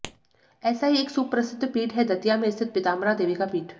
ऐसा ही एक सुप्रसिद्ध पीठ है दतिया में स्थित पीताम्बरा देवी का पीठ